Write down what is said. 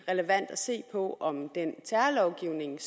relevant at se på om den terrorlovgivning